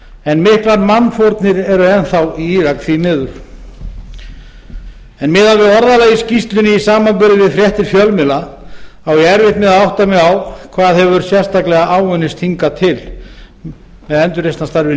en miklar mannfórnir eru enn þá í írak því miður en miðað við orðalag í skýrslunni í samanburði við fréttir fjölmiðla á ég erfitt með að átta mig á hvað hefur sérstaklega áunnist hingað til með endurreisnarstarfið